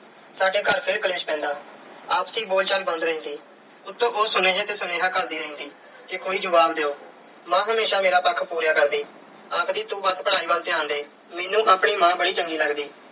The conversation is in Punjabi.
ਸਾਡੇ ਘਰ ਫਿਰ ਕਲੇਸ਼ ਪੈਂਦਾ। ਆਪਸੀ ਬੋਲਚਾਲ ਬੰਦ ਰਹਿੰਦੀ, ਉੱਤੋਂ ਉਹ ਸੁਨੇਹੇ ਤੇ ਸੁਨੇਹਾ ਘੱਲਦੀ ਰਹਿੰਦੀ ਕਿ ਕੋਈ ਜਵਾਬ ਦਿਉ। ਮਾਂ ਹਮੇਸ਼ਾ ਮੇਰਾ ਪੱਖ ਪੂਰਿਆ ਕਰਦੀ। ਆਖਦੀ ਤੂੰ ਆਪਣੀ ਪੜ੍ਹਾਈ ਵੱਲ ਧਿਆਨ ਦੇ। ਮੈਨੂੰ ਆਪਣੀ ਮਾਂ ਬੜੀ ਚੰਗੀ ਲੱਗਦੀ।